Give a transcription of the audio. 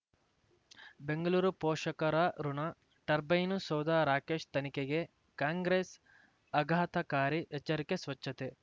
ಬೆಂಗಳೂರು ಪೋಷಕರಋಣ ಟರ್ಬೈನು ಸೌಧ ರಾಕೇಶ್ ತನಿಖೆಗೆ ಕಾಂಗ್ರೆಸ್ ಆಘಾತಕಾರಿ ಎಚ್ಚರಿಕೆ ಸ್ವಚ್ಛತೆ